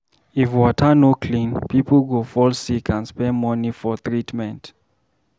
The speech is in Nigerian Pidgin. If water no clean, pipo go fall sick and spend money for treatment.